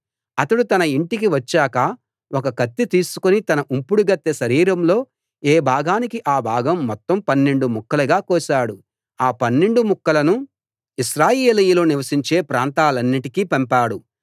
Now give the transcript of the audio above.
అతడు తన యింటికి వచ్చాక ఒక కత్తి తీసుకుని తన ఉంపుడుగత్తె శరీరంలో ఏ భాగానికి ఆ భాగం మొత్తం పన్నెండు ముక్కలుగా కోశాడు ఆ పన్నెండు ముక్కలను ఇశ్రాయేలీయులు నివసించే ప్రాంతాలన్నిటికీ పంపాడు